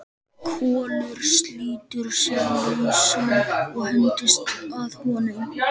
Kolur slítur sig lausan og hendist að honum.